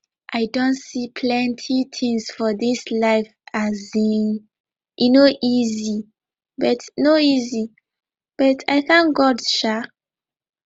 i don see plenty things for this life um e no easy but no easy but i thank god um